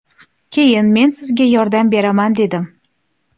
Keyin ”Men sizga yordam beraman” dedim.